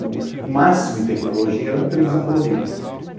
O máximo em tecnologia era uma televisão colorida.